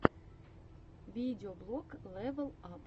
видеоблог лэвал ап